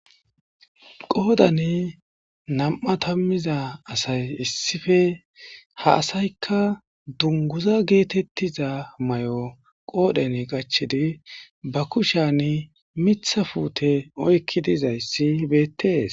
Qoodnan nam'ia taamiza asay issippe ha asaykka dunguza getettiza mayo qodhen qachidi ba kushan miththa puutte oykidii dizayssi beettes.